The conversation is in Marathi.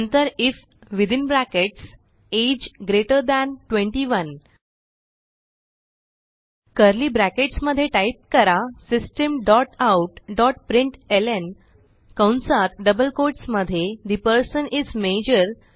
नंतर if within brackets age greater than 21 curly brackets मध्ये टाईप करा system dot out dot println कंसात डबल कोट्स मध्ये ठे पर्सन इस माजोर